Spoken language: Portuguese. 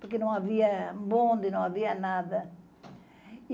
porque não havia bonde, não havia nada.